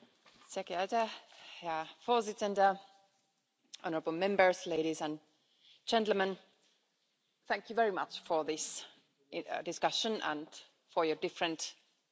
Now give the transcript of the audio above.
Mr President, honourable Members, ladies and gentlemen, thank you very much for this discussion and for your different interventions.